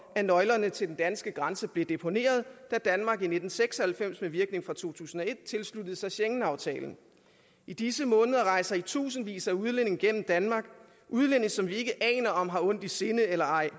at nøglerne til den danske grænse blev deponeret da danmark i nitten seks og halvfems med virkning fra to tusind og et tilsluttede sig schengenaftalen i disse måneder rejser i tusindvis af udlændinge gennem danmark udlændinge som vi ikke aner om har ondt i sinde eller ej